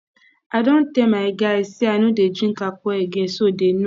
i don tell my guys say i no dey drink alcohol again so dey know